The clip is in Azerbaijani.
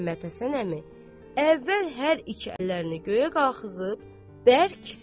Məhəmməd Həsən əmi əvvəl hər iki əllərini göyə qaxızıb bərk.